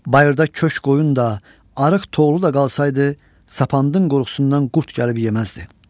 Bayırda köşk qoyun da, arıq toğlulu da qalsaydı, sapandın qorxusundan qurd gəlib yeməzdi.